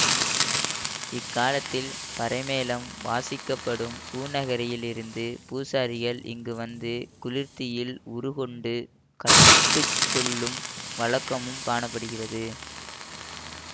இக்காலத்தில் பறை மேளம் வாசிக்கப்படும் பூநகரியில் இருந்து பூசாரிகள் இங்கு வந்து குளிர்த்தியில் உருக்கொண்டு கட்டுச் சொல்லும் வழக்கமும் காண படுகிறது